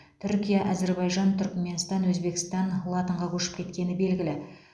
түркия әзербайжан түркіменстан өзбекстан латынға көшіп кеткені белгілі